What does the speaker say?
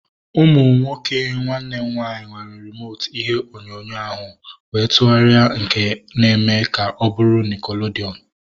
Ụmụ nwoke nwanne m nwaanyị were rimotu ihe onyonyo ahu ma tụgharịa nke na eme ka ọ bụrụ nickelodeon